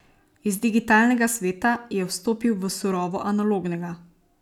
Iz digitalnega sveta je vstopil v surovo analognega.